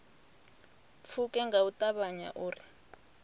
pfuke nga u ṱavhanya uri